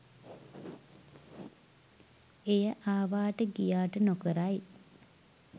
එය ආවාට ගියාට නොකරයි